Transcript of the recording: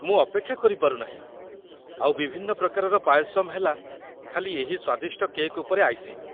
ମୁଁ ଅପେକ୍ଷା କରିପାରୁ ନାହିଁ, ଆଉ ବିଭିନ୍ନ ପ୍ରକାରର ପାୟସମ୍ ହେଲା ଖାଲି ଏହି ସ୍ୱାଦିଷ୍ଟ କେକ୍ ଉପରେ ଆଇସିଂ ।